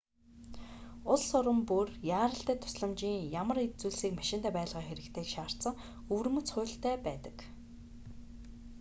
улс орон бүр яаралтай тусламжийн ямар эд зүйлсийг машиндаа байлгах хэрэгтэйг шаардсан өвөрмөц хуультай байдаг